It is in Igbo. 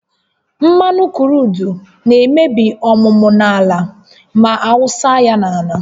Mmanụ kruudu na-emebi ọmụmụ ala ma awụsa ya n'ala